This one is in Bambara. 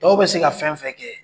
Dɔw bɛ se ka fɛn fɛn kɛ